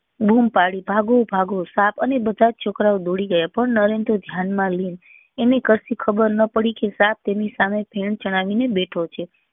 બુમ પાડી ભાગો ભાગો સાપ અને બધા છોકરાઓ દોડી ગયા પણ નરેન તો ધ્યાન માં લિંગ એને કશી ખબર નાં પડી કે સાપ તેની સામે ફેણ ચડાવી ને બેઠો છે